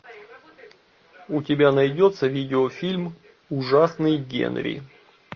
у тебя найдется видео фильм ужасный генри